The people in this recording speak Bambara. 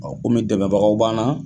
komi degebagaw banna